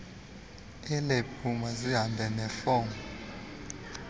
elebhu mazihambe nefomu